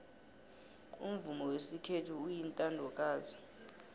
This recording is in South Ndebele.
umvumo wesikhethu uyintandokazi